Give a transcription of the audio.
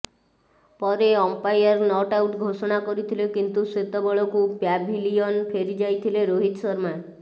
ପରେ umpire not out ଘୋଷଣା କରିଥିଲେ କିନ୍ତୁ ସେତେବେଳକୁ ପ୍ୟାଭିଲିୟନ ଫେରିଯାଇଥିଲେ ରୋହିତ ଶର୍ମା